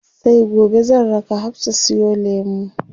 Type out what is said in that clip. Sai gobe zan raka Hafsa siyo lemu.